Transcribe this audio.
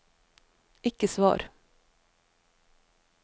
ikke svar